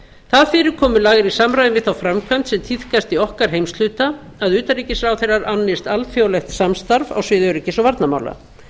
það fyrirkomulag er í samræmi við þá framkvæmd sem tíðkast í okkar heimshluta að utanríkisráðherrar annist alþjóðlegt samstarf á sviði öryggis og varnarmála